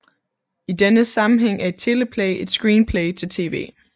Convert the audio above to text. I denne sammenhæng er et teleplay et screenplay til tv